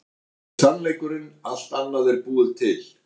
Þetta er sannleikurinn, allt annað er búið til.